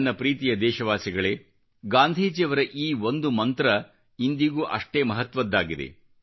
ನನ್ನ ಪ್ರೀತಿಯ ದೇಶವಾಸಿಗಳೇ ಗಾಂಧೀಜಿಯವರ ಈ ಒಂದು ಮಂತ್ರ ಇಂದಿಗೂ ಅಷ್ಟೇ ಮಹತ್ವದ್ದಾಗಿದೆ